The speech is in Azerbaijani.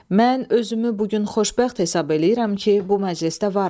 Mən özümü bu gün xoşbəxt hesab eləyirəm ki, bu məclisdə varam.